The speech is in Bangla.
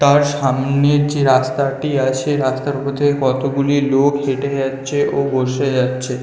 তার সামনের যে রাস্তা টি আছে রাস্তার উপর থেকে কতগুলি লোক হেঁটে যাচ্ছে ও বসে যাচ্ছে